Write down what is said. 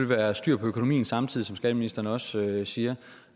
være styr på økonomien samtidig som skatteministeren også siger